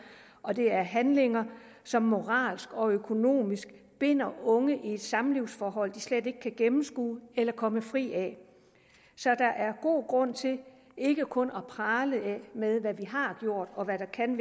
og det er handlinger som moralsk og økonomisk binder unge i et samlivsforhold de slet ikke kan gennemskue eller komme fri af så der er god grund til ikke kun at prale med hvad vi har gjort og hvad vi kan